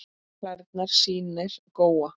Klærnar sýnir Góa.